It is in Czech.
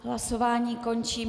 Hlasování končím.